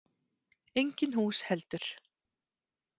Engin hús heldur.